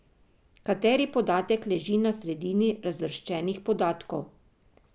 Kateri podatek leži na sredini razvrščenih podatkov?